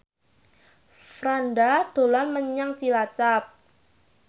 Franda dolan menyang Cilacap